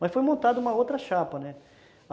Mas foi montada uma outra chapa, né?